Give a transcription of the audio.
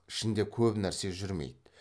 ішінде көп нәрсе жүрмейді